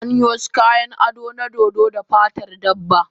Ana yin wasu kayan ado na dodo da fatar dabba.